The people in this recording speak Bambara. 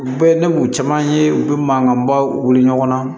U bɛɛ ne b'u caman ye u bɛ mankanbaw wuli ɲɔgɔn na